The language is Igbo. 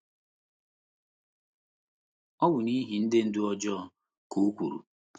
“ Ọ bụ n’ihi ndị ndú ọjọọ, ” ka o kwuru.